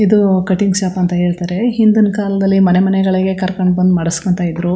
ಇದು cutting shop ಅಂತ ಹೇಳ್ತಾರೆ ಹಿಂದಿನ್ ಕಾಲದಲ್ಲಿ ಮನೆಮನೆಗಳಿಗೆ ಕರಕೊಂಡ್ ಬಂದ್ ಮಾಡ್ಸಕೊಂತ್ತಾ ಇದ್ರು.